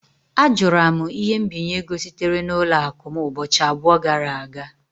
Ajụra m ihe mbinye ego sitere n'ụlọ akụ m ụbọchị abụọ gara aga